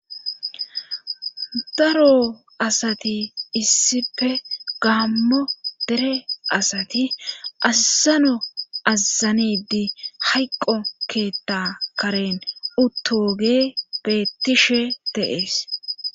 daro asati issippe gaammo dere asati assano azanidi hayqqo keetta karen uttoge beettishe teees